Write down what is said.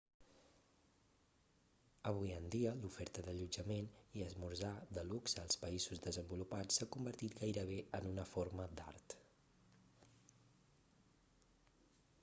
avui en dia l'oferta d'allotjament i esmorzar de luxe als països desenvolupats s'ha convertit gairebé en una forma d'art